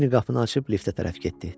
Cinni qapını açıb liftə tərəf getdi.